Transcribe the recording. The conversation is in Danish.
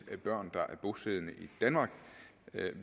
børn der er bosiddende i danmark